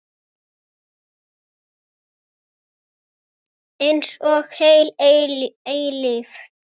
Einsog heil eilífð.